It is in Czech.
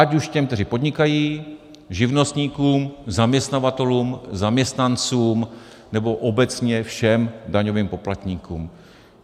Ať už těm, kteří podnikají, živnostníkům, zaměstnavatelům, zaměstnancům, nebo obecně všem daňovým poplatníkům.